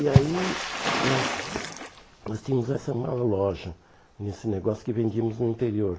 E aí nós nós tínhamos essa uma loja, nesse negócio que vendíamos no interior.